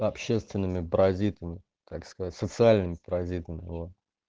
общественными паразитами так сказать социальными паразитами во